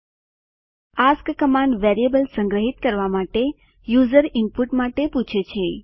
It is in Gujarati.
એએસકે કમાન્ડ વેરિયેબલ સંગ્રહિત કરવા માટે યુઝર ઈનપુટ માટે પૂછે છે